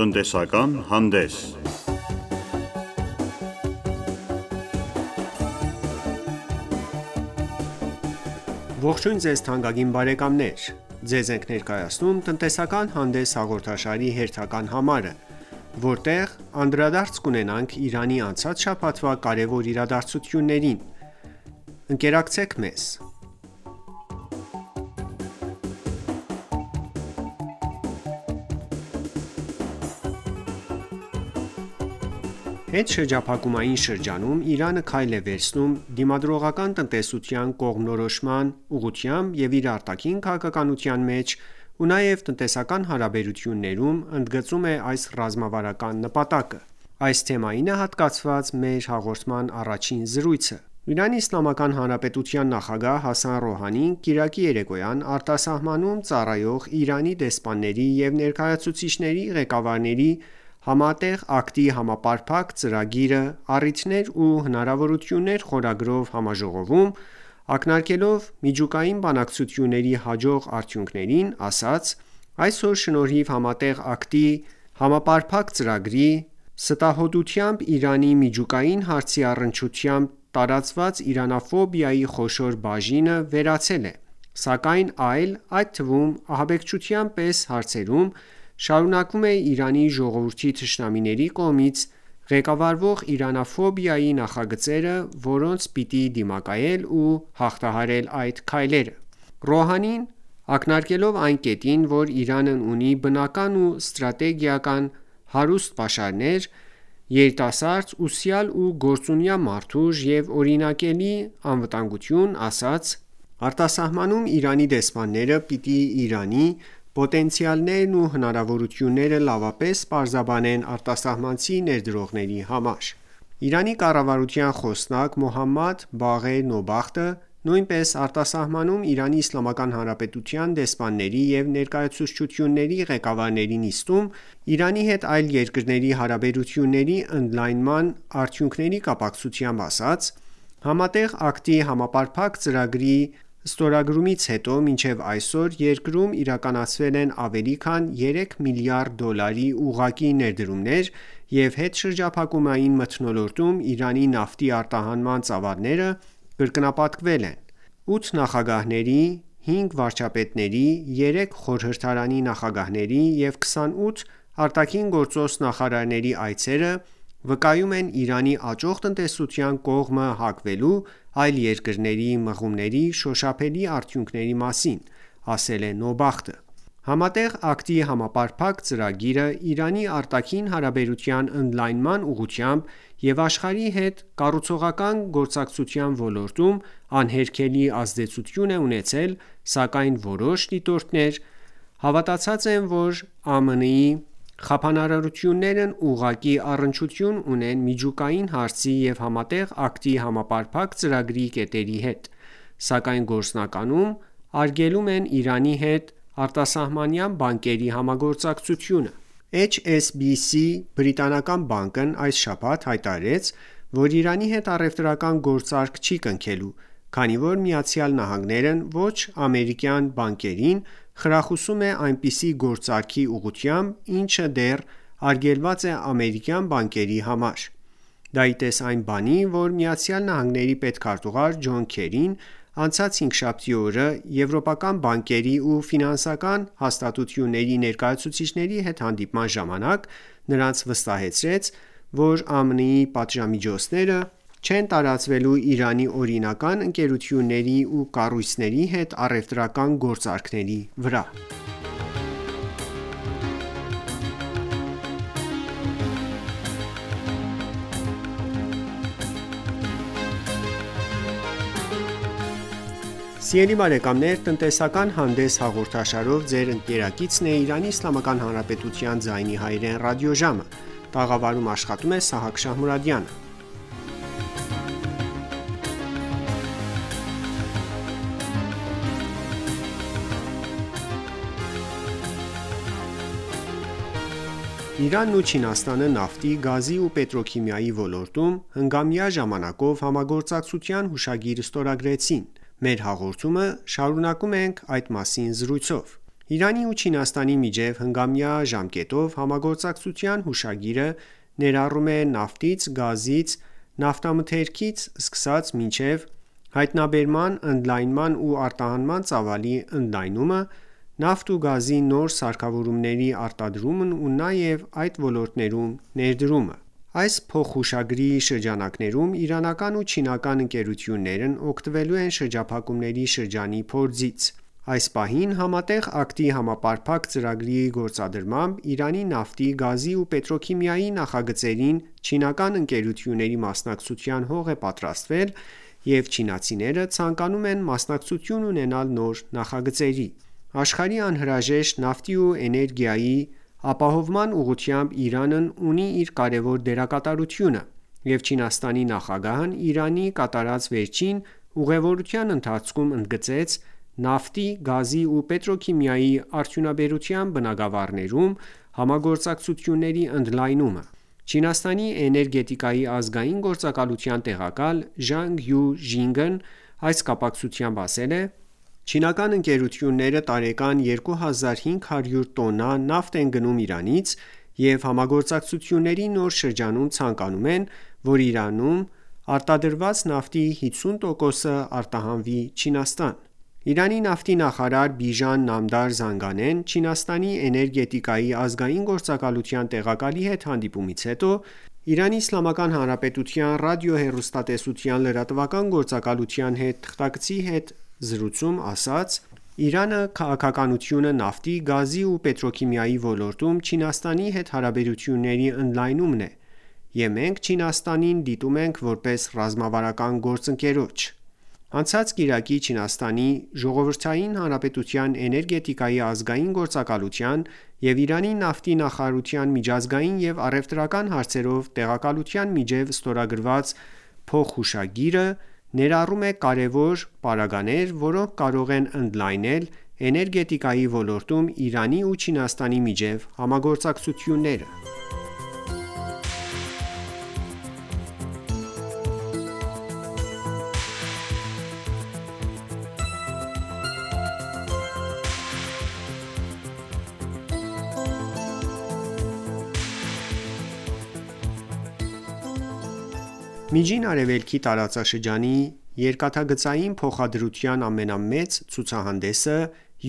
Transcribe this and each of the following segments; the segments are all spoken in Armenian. Տնտեսական հանդես Ողջույն թանկագին բարեկամներ: Ձեզ ենք ներկայացնում «Տնտեսական հանդես» հաղորդաշարի հերթական համարը, որտեղ անդրադարձ կունենանք Իրանի անցած շաբաթվա կարևոր իրադարձություններին: Ընկերակցեք մեզ: Հետշրջափակումային շրջանում Իրանը քայլ է վերցնում դիմադրողական տնտեսության կողմնորոշման ուղղությամբ և իր արտաքին քաղաքականության մեջ ու նաև տնտեսական հարաբերություններում ընդգծում է այս ռազմավարական նպատակը: Այդ թեմային է հատկացված մեր հաղորդման առաջին զրույցը: ԻԻՀ նախագահ Հասան Ռոհանին կիրակի երեկոյան արտասահմանում հավատարմագրված Իրանի դեսպանների ու ներկայացուցչությունների ղեկավարների «Համատեղ քայլերի համապարփակ ծրագիրը՝ առիթներ ու հնարավորություններ» խորագրով համաժողովում ակնարկելով միջուկային բանակցությունների հաջող արդյունքներին, ասաց. «Այսօր՝ շնորհիվ Համատեղ համապարփակ ծրագրի, ստահոդությամբ Իրանի միջուկային հարցի առնչությամբ տարածված իրանաֆոբիայի խոշոր բաժինը վերացել է, սակայն այլ, այդ թվում ահաբեկչության պես հարցերում շարունակվում ե Իրանի ժողովրդի թշնամիների կողմից ղեկավարվող իրանաֆոբիայի նախագծերը, որոնց պիտի դիմակայել ու հաղթահարել քայլ առ քայլ»: Ռոհանին նշելով, որ Իրանն ունի բնական ու ստորգետնյա հարուստ պաշարներ, երիտասարդ, ուսյալ ու գործունյա մարդուժ և օրինակելի անվտանգություն, ասաց. «Արտասահմանում Իրանի դեսպանները պիտի Իրանի պոտենցիալներն ու հնարավորությունները լավապես պարզաբանեն արտասահմանցի ներդրողների համար»: Իրանի կառավարության խոսնակ Մոհամմեդ Բաղեր Նոբախտը նույնպես արտասահմանում ԻԻՀ-ի դեսպանների և ներկայացուցչությունների ղեկավարների նիստում ԻԻՀ-ի հետ այլ երկրների հարաբերությունների ընդլայնման արդյունքների կապակցությամբ ասաց. «Համատեղ քայլերի համապարփակ ծրագրի ստորագրումից հետո մինչև այսօր երկրում իրականացվել են ավելի քան 3 միլիարդ դոլարի ուղղակի ներդրումներ և հետշրջափակումային մթնոլորտում Իրանի նավթի արտահանման ծավալները կրկնապատկվել են»: «Ութ նախագահների, հինգ վարչապետների, երեք խորհրդարանի նախագահների և 28 ԱԳ նախարարների այցերը վկայում են Իրանի աճող տնտեսության կողմը հակվելու այլ երկրների մղումների շոշափելի արդյունքների մասին»,-ասել է Նոբախտը: Համատեղ քայլերի համապարփակ ծրագիրը Իրանի արտաքին հարաբերության ընդլայնման ուղղությամբ և աշխարհի հետ կառուցողական գործակցության ոլորտում անհերքելի ազդեցություն է ունեցել, սակայն որոշ դիտորդներ հավատացած են, որ ԱՄՆ-ի խափանարարություններն ուղղակի առնչություն չունեն միջուկային հարցի և Համատեղ քայլերի համապարփակ ծրագրի կետերի հետ, սակայն գործնականում արգելում են Իրանի հետ արտասահմանյան բանկերի համագործակցությունը: HSBC բրիտանական բանկն այս շաբաթ հայտարարեց, որ Իրանի հետ առևտրական գործարք չի կնքելու, քանի որ ԱՄՆ-ն ոչ-ամերիկյան բանկերին խրախուսում է այնպիսի գործարքի ուղղությամբ, ինչը դեռ արգելված է ամերիկյան բանկերի համար: Դա ի տես այն բանի, որ ԱՄՆ պետքարտուղար Ջոն Քերին անցած հինգշաբթի օրը եվրոպական բանկերի ու ֆինանսական հաստատությունների ներկայացուցիչների հետ հանդիպման ժամանակ նրանց վստահեցրեց, որ ԱՄՆ-ի պատժամիջոցները չեն տարածվելու Իրանի օրինական ընկերությունների ու կառույցների հետ առևտրական գործարքների վրա: Իրանն ու Չինաստանը նավթի, գազի ու պետրոքիմիայի ոլորտում հնգամյա ժամկետով համագործակցության հուշագիր ստորագրեցին: Մեր հաղորդումը շարունակում ենք այդ մասին զրույցով: Իրանի ու Չինաստանի միջև հնգամյա ժամկետով համագործակցության հուշագիրը ներառում է նավթից, գազից, նավթամթերքից ու կոնդենսատներից սկսած մինչև հայտնաբերման, ընդլայնման ու արտահանման ծավալի ընդլայնումը, նավթ ու գազի նոր սարքավորումների արտադրումն ու նաև այդ ոլորտներում ներդրումը: Այս փոխհուշագրի շրջանակներում իրանական ու չինական ընկերություններն օգտվելու են շրջափակումների շրջանի փորձից: Այս պահին Համատեղ քայլերի համապարփակ ծրագրի գործադրմամբ Իրանի նավթի, գազի ու պետրոքիմիայի նախագծերին չինական ընկերությունների մասնակցության հող է պատրաստվել ռ չինացիները ցանկանում են մասնակցություն ունենալ նոր նախագծերի: Աշխարհի անհրաժեշտ նավթի ու էներգիայի ապահովման ուղղությամբ Իրանն ունի իր կարևոր դերակատարությունը և Չինաստանի նախագահն Իրան կատարած վերջին ուղևորության ընթացքում ընդգծեց նավթ, գազի ու պետրոքիմիայի արդյունաբերության բնագավառներում համագործակցությունների ընդլայնումը: Չինաստանի էներգետիկայի ազգային գործակալության տեղակալ Ժանգ Յու Ժինգն այս կապակցությամբ ասել է. «Չինական ընկերությունները տարեկան 2500 տոննա նավթ են գնում Իրանից և համագործակցությունների նոր շրջանում ցանկանում ենք, որ Իրանում արտադրված նավթի 50 տոկոսն արտահանվի Չինաստան»: Իրանի նավթի նախարար Բիժան Նամդար Զանգանեն Չինաստանի էներգետիկայի ազգային գործակալության տեղակալի հետ հանդիպումից հետո ԻԻՀ Ռադիո-հեռուստատեսության լրատվական գործակալության հետ թղթակցի հետ զրույցում ասաց. «Իրանը քաղաքականությունը նավթի, գազի ու պետրոքիմիայի ոլորտում Չինաստանի հետ հարաբերությունների ընդլայնումն է և մենք Չինաստանին դիտում ենք, որպես ռազմավարական գործընկերոջ»: Անցած կիրակի Չինաստանի ժողովրդային հանրապետության էներգետիկայի ազգային գործակալության ներկայացուցչի և Իրանի նավթի նախարարության միջազգային ու առևտրական հարցերով տեղակալի միջև ստորագրված փոխհուշագիրը ներառում է կարևոր պարագաներ, որոնք կարող են ընդլայնել էներգետիկայի ոլորտում Իրանի ու Չինաստանի միջև համագործակցությունները: Միջին Արևելքի տարածաշրջանի երկաթգծային փոխադրության ամենամեծ ցուցահանդեսը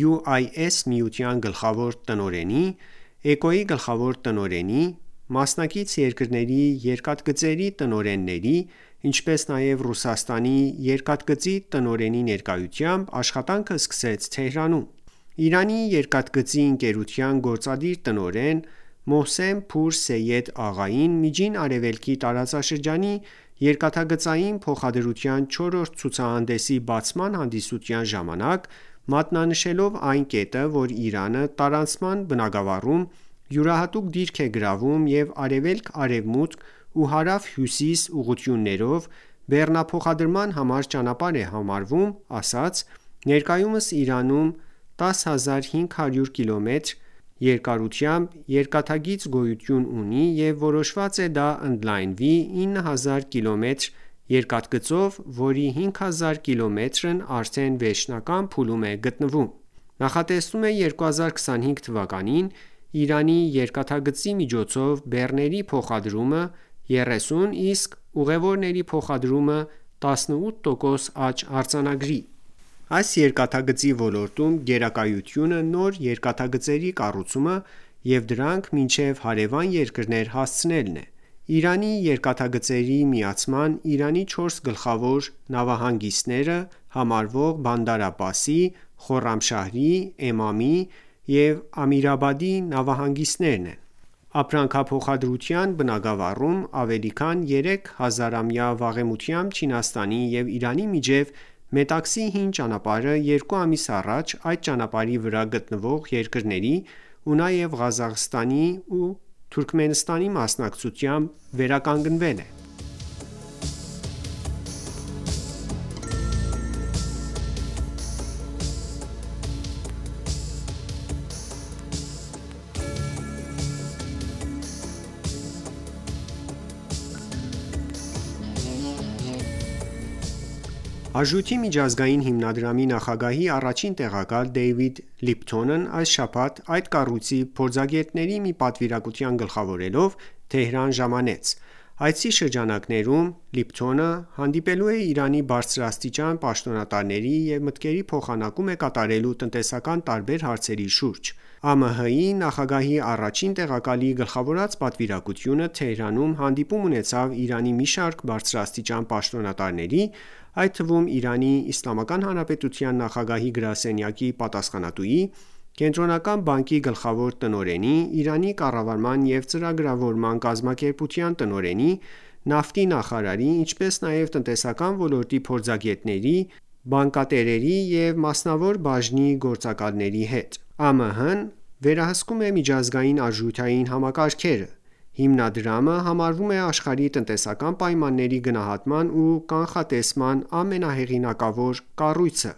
UIS միության գլխավոր տնօրենի, ԷԿՕ-ի գլխավոր տնօրենի, մասնակից երկրների երկաթգծերի տնօրենների, ինչպես նաև Ռուսաստանի երկաթգծի տնօրենի ներկայությամբ աշխատանքը սկսեց Թեհրանում: Իրանի երկաթգծի ընկերության գործադիր տնօրեն Մոհսեն Փուր Սեյեդ Աղային Միջին Արևելքի տարածաշրջանի երկաթգծային փոխադրության 4-րդ ցուցահանդեսի բացման հանդիսության ժամանակ մատնանշելով այն կետը, որ Իրանը տարանցման բնագավառում յուրահատուկ դիրք է գրավում և արևելք-արևմուտք ու հարավ-հյուսիս ուղղություններով բեռնափոխադրման համար ճանապարհ է համարվում, ասաց. «Ներկայումս Իրանում 10500կմ երկարությամբ երկաթգիծ գոյություն ունի և որոշված է դա ընդլայնվի 9000կմ երկաթգծով, որի 5000 կիլոմետրն արդեն վերջնական փուլում է գտնվում»: Նախատեսվում է իրանական 1404՝ փրկչական 2025 թվականին Իրանի երկաթգծի միջոցով բեռների փոխադրումը՝ 30, իսկ ուղևորների փոխադրումը՝ 18 տոկոս աճ արձանագրի: Այս երկաթգծի ոլորտում գերակայությունը նոր երկաթգծերի կառուցումը և դրանք մինչև հարևան երկրներ հասցնելն է: Իրանի երկաթգծերը միացան են Իրանի չորս գլխավոր նավահանգիստները համարվող Բանդար Աբբասի, Խոռամշահրի, Էմամի և Ամիրաբադի նավահանգիստներին: Ապրանքափոխադրման բնագավառում ավելի քան երեք հազարամյա վաղեմիությամբ Չինաստանի և Իրանի միջև Մետաքսի հին ճանապարհը երկու ամիս առաջ այդ ճանապարհի վրա գտնվող երկրների ու նաև Ղազախստանի ու Թուրքմենստանի մասնակցությամբ վերականգնվել է: Արժույթի միջազգային հիմնադրամի նախագահի առաջին տեղակալ Դեյվիդ Լիփթոնն այս շաբաթ այդ կառույցի փորձագետների մի պատվիրակություն գլխավորելով Թեհրան ժամանեց: Այցի շրջանակներում Լիփթոնը հանդիպելու է Իրանի բարձրաստիճան պաշտոնատարների և մտքերի փոխանակում է կատարելու տնտեսական տարբեր հարցերի շուրջ: ԱՄՀ-ի նախագահի առաջին տեղակալի գլխավորած պատվիրակությունը Թեհրանում հանդիպում ունեցավ Իրանի մի շարք բարձրաստիճան պաշտոնատարների, այդ թվում ԻԻՀ նախագահի գրասենյակի պատասխանատվի, Կենտրոնական բանկի գլխավոր տնօրենի, Իրանի կառավարման ու ծրագրավորման կազմակերպության տնօրենի, նավթի նախարարի, ինչպես նաև տնտեսական ոլորտի փորձագետների, բանկատերերի և մասնավոր բաժնի գործարարների հետ: ԱՄՀ-ն վերահսկում է միջազգային արժութային համակարգերը: Հիմնադրամը համարվում է աշխարհի տնտեսական պայմանների գնահատման ու կանխատեսման ամենահեղինակավոր կառույցը: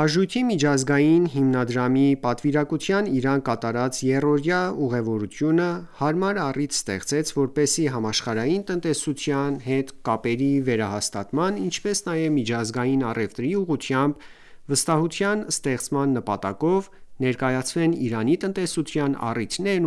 ԱՄՀ-ի պատվիրակության Իրան կատարած եռօրյա ուղևորությունը հարմար առիթ ստեղծեց, որպեսզի համաշխարհային տնտեսության հետ կապերի վերահաստատման, ինչպես նաև միջազգային առևտրի ուղղությամբ վստահության ստեղծման նպատակով ներկայացվեն Իրանի տնտեսության առիթներն